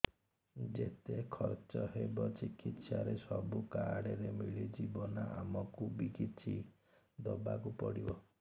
ଯେତେ ଖର୍ଚ ହେବ ଚିକିତ୍ସା ରେ ସବୁ କାର୍ଡ ରେ ମିଳିଯିବ ନା ଆମକୁ ବି କିଛି ଦବାକୁ ପଡିବ